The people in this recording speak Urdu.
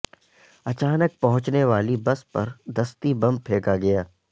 اچانک پہنچنے والی بس پر دستی بم پھینکا گیا